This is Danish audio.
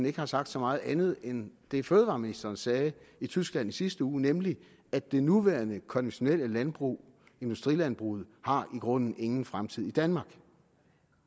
ikke har sagt så meget andet end det fødevareministeren sagde i tyskland i sidste uge nemlig at det nuværende konventionelle landbrug industrilandbruget i grunden ingen fremtid har i danmark